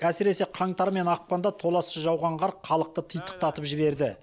әсіресе қаңтар мен ақпанда толассыз жауған қар халықты титықтатып жіберді